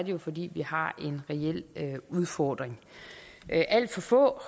jo fordi vi har en reel udfordring alt for få